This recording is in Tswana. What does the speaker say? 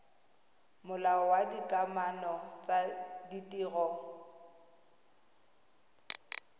molao wa dikamano tsa ditiro